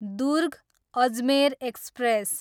Durg, Ajmer express